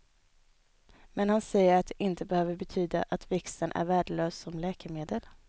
Men han säger att det inte behöver betyda att växten är värdelös som läkemedel.